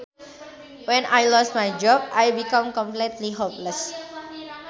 When I lost my job I became completely hopeless